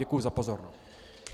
Děkuji za pozornost.